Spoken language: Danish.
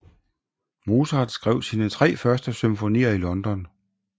Mozart skrev sine tre første symfonier i London